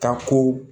Ka ko